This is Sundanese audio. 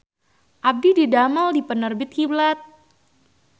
Abdi didamel di Penerbit Kiblat